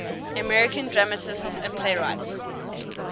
american dramatists and playwrights